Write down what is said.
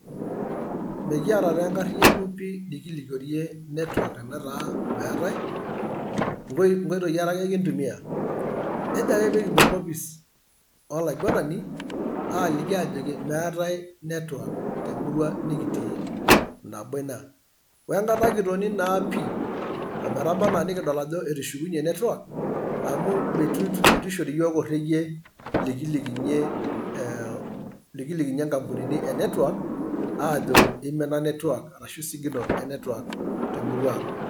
Mekiata taa enkariano pi nikilikiorie network tenetaa meetae nkoitoi are ake kintumia either ake pee kipuo enkopis olaiguanani aaliki ajoki meetae network te murua nikitii nabo ina. we enkata kitoni naa pi ometaba anaa nikidol ajo etushukunyie network amu mitu itu ishori iyiook orekie likilikinyie eem nkampunini e network aajo imina network ashu signal e network te murua ang.